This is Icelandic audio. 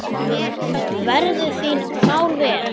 Verðu þín mál vel.